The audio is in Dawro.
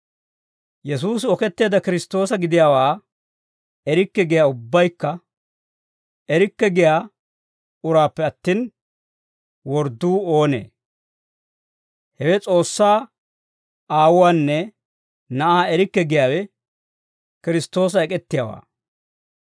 Yesuusi Oketteedda Kiristtoosa gidiyaawaa erikke giyaa uraappe attin, wordduu oonee? Hewe S'oossaa Aawuwaanne Na'aa erikke giyaawe Kiristtoosa ek'ettiyaawaa.